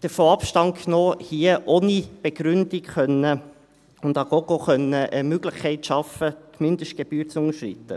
davon Abstand, hier ohne Begründung und à gogo eine Möglichkeit zu schaffen, die Mindestgebühr zu unterschreiten.